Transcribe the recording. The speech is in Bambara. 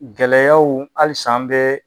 Gɛlɛyaw halisa an bɛ